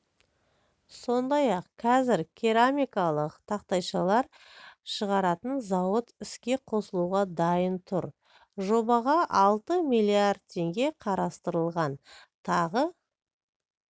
сондай-ақ қазір керамикалық тақтайшалар шығаратын зауыт іске қосылуға дайын тұр жобаға алты миллиард теңге қарастырылған тағы